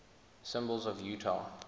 symbols of utah